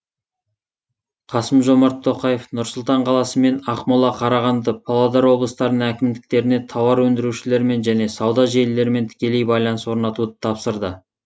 қасым жомарт тоқаев нұр сұлтан қаласы мен ақмола қарағанды павлодар облыстарының әкімдіктеріне тауар өндірушілермен және сауда желілерімен тікелей байланыс орнатуды тапсырды